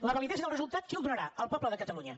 la validesa del resultat qui la donarà el poble de catalunya